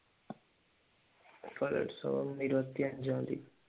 കലോത്സവം ഇരുപത്തിയഞ്ചാം തിയതി